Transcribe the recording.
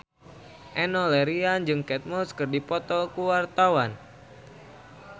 Enno Lerian jeung Kate Moss keur dipoto ku wartawan